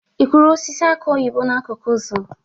Ị kụrụ osisi aki oyibo n'akụkụ ụzọ?